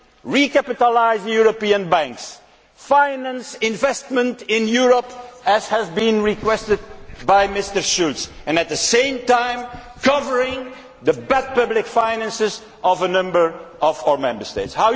Recapitalise the European banks, finance investment in Europe as has been requested by Mr Schulz and at the same time cover the bad public finances of a number of our Member States.